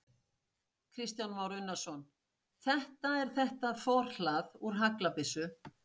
Kristján Már Unnarsson: Þetta er þetta forhlað úr haglabyssu?